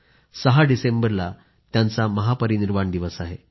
6 डिसेंबरला त्यांचा महापरिनिर्वाण दिवस आहे